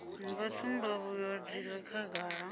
nga tsumbavhuyo dzi re khagala